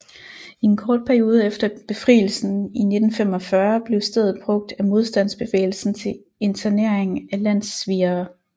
I en kort periode efter befrielsen i 1945 blev stedet brugt af modstandsbevægelsen til internering af landssvigere